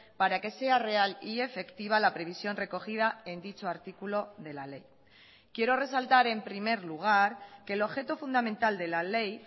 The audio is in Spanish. para que sea real y efectiva la previsión recogida en dicho artículo de la ley quiero resaltar en primer lugar que el objeto fundamental de la ley